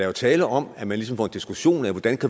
jo tale om at man ligesom får en diskussion af hvordan